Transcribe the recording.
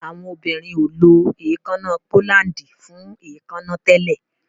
Awọn obirin o ló èékánná pólándì fún èékánná tẹlẹ.